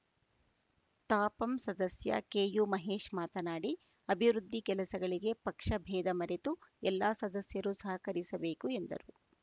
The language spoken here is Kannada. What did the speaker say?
ತಾಪಂ ಸದಸ್ಯ ಕೆಯು ಮಹೇಶ್‌ ಮಾತನಾಡಿ ಅಭಿವೃದ್ಧಿ ಕೆಲಸಗಳಿಗೆ ಪಕ್ಷ ಭೇದ ಮರೆತು ಎಲ್ಲಾ ಸದಸ್ಯರು ಸಹಕರಿಸಬೇಕು ಎಂದರು